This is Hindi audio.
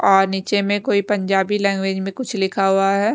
और नीचे में कोई पंजाबी लैंग्वेज में कुछ लिखा हुआ है।